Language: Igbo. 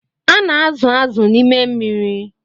A na-azụ̀ azụ̀ na n'ime mmiri.